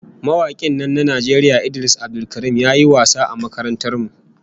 Mawakin nan na Najeriya Idris Abdulkarim ya yi wasa a makarantar mu